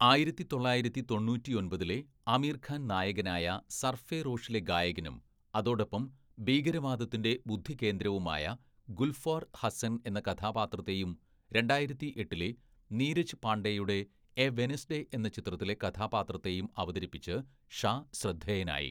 ആയിരത്തി തൊള്ളായിരത്തി തൊണ്ണൂറ്റിയൊമ്പതിലെ ആമീർഖാൻ നായകനായ സർഫറോഷിലെ ഗായകനും അതോടൊപ്പം ഭീകരവാദത്തിൻ്റെ ബുദ്ധികേന്ദ്രവുമായ ഗുൽഫാർ ഹസ്സൻ എന്ന കഥാപാത്രത്തെയും, രണ്ടായിരത്തിയെട്ടിലെ നീരജ് പാണ്ഡെയുടെ എ വെനസ്‌ഡേ എന്ന ചിത്രത്തിലെ കഥാപാത്രത്തെയും അവതരിപ്പിച്ച്‌ ഷാ ശ്രദ്ധേയനായി.